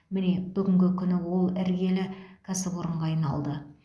міне бүгінгі күні ол іргелі кәсіпорынға айналды